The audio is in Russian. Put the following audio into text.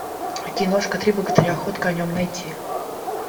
киношка три богатыря ход конем найти